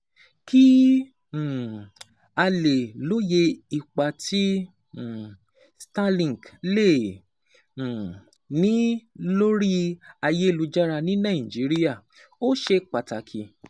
Kí um a lè lóye ipa tí um Starlink lè um ní lórí ayélujára ní Nàìjíríà, ó ṣe pàtàkì